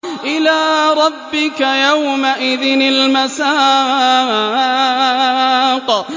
إِلَىٰ رَبِّكَ يَوْمَئِذٍ الْمَسَاقُ